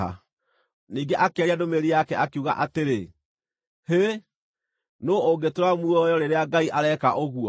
Ningĩ akĩaria ndũmĩrĩri yake, akiuga atĩrĩ: “Hĩ! Nũũ ũngĩtũũra muoyo rĩrĩa Ngai areka ũguo?